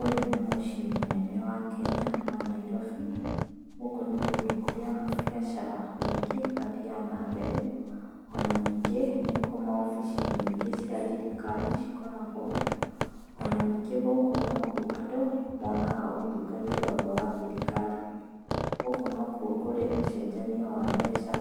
Ũyũ nĩ mũciĩ mũnene wa Kenya wa Nairobi. Gũkũ nĩ kũndũ kũrĩa mabiacara maingĩ mathiaga na mbere. Ona ningĩ nikuo maofici nyingĩ cia thirikari cikoragwo. Ona ningĩ gũkũ nokuo andũ monaga ũtungata wothe wa thirikari. Gũkũ nokuo kũrĩ ũcenjania wa mbeca,